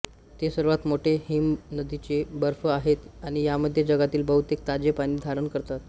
ते सर्वात मोठे हिमनदीचे बर्फ आहेत आणि यामध्ये जगातील बहुतेक ताजे पाणी धारण करतात